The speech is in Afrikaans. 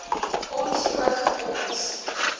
ons ook ons